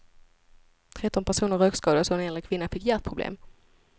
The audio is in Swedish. Tretton personer rökskadades och en äldre kvinna fick hjärtproblem.